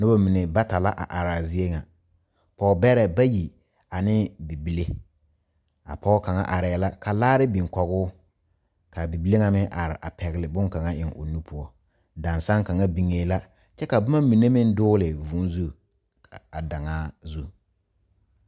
Noba mine bata la are a zie ŋa, Pɔge bɛre bayi ane bibile a pɔge kaŋa are la ka laara biŋ kɔŋ o ka bibile ŋa meŋ are a pegle bon kaŋa a eŋ o nu poɔ dansege kaŋ biŋe la kyɛ ka boma mine meŋ dogle vūū zu a daŋaa zu.